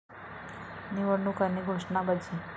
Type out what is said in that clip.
निवडणूक आणि घोषणाबाजी